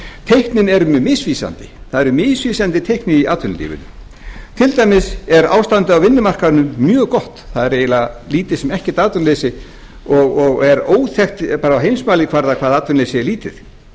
teiknin eru mjög misvísandi það eru misvísandi teikn í atvinnulífinu til dæmis er ástandið á vinnumarkaðnum mjög gott það er eiginlega lítið sem ekkert atvinnuleysi og er óþekkt bara á heimsmælikvarða hvað atvinnuleysið er